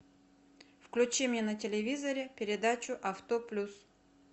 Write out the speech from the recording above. включи мне на телевизоре передачу авто плюс